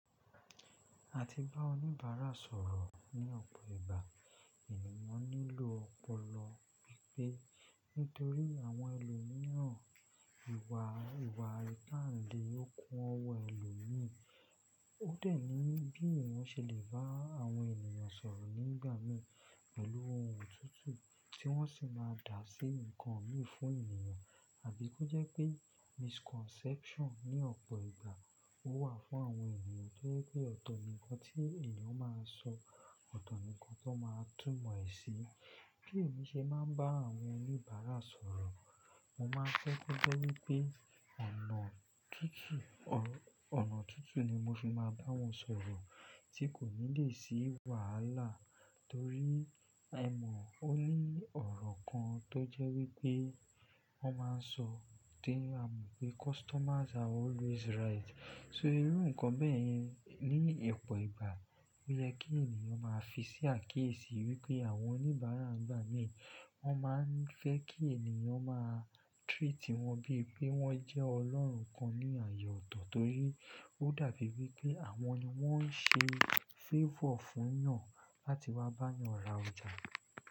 A ti bá oníbàárà sọ̀rọ̀ ní ọ̀pọ̀ ìgbà, ènìyàn nílò ọpọlọ pípé nítorí àwọn ẹlòmíràn ìwà ìwà ipanle lò kún ọwọ́ ẹlòmíì. Ó dẹ̀ ní bí ènìyàn ṣe lè bá àwọn ènìyàn sọ̀rọ̀ nígbà mìí pẹ̀lú ohun òtútù tí wọ́n sì máa dà sí ǹkan mìí fún ènìyàn àbí kó jẹ́ pé misconception ní ọ̀pọ̀ ìgbà ó wà fún àwọn ènìyàn to je pé ọ̀tọ̀ nìkan tí ènìyàn máa sọ, ọ̀tọ̀ nìkan tó n máa túmọ̀ ìṣe. Kí èmi ṣe máa ń bá àwọn oníbàárà sọ̀rọ̀, mo máa ń fe ko jẹ́ wípé ọ̀nà kíkí ọ̀nà òtútù ni mo fi máa bá wọn sọ̀rọ̀ tí kò ní lè sí wàhálà torí a ó ní ọ̀rọ̀ kan tó jẹ́ wípé wọ́n máa ń sọ tí a mọ̀ pé customers are always right. So irú ǹkan bẹ́ẹ̀ yẹn ní ọ̀pọ̀ ìgbà ó yẹ kí ènìyàn máa fi sí àkíyèsí wípé àwọn oníbàárà n gbà mìí wọ́n máa ń fẹ́ kí ènìyàn máa treat wọ́n bí i pé wọ́n jẹ́ ọlọ́run kan ní ààyè ọ̀tọ̀ torí ó dàbí wípé àwọn ni wọ́n ń ṣe favor fún eyàn láti wá bá eyàn ra ọjà.